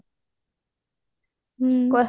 ହ୍ମ